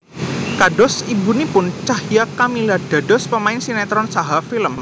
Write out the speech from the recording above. Kados ibunipun Cahya Kamila dados pemain sinétron saha film